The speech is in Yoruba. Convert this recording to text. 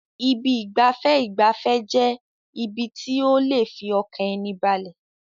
Ibi ìgbafẹ́ ìgbafẹ́ jẹ́ ibi tí ó lè fi ọkàn ẹni balẹ̀.